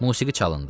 Musiqi çalındı.